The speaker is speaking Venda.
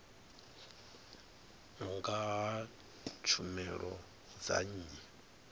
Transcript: nga ha tshumelo dza nnyi